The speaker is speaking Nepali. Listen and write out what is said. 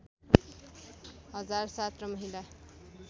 हजार ७ र महिला